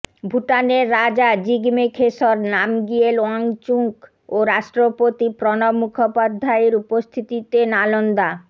ভুটানের রাজা জিগমে খেসর নামগিয়েল ওয়াংচুক ও রাষ্ট্রপতি প্রণব মুখোপাধ্যায়ের উপস্থিতিতে নালন্দা